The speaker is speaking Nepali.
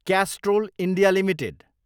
क्यास्ट्रोल इन्डिया एलटिडी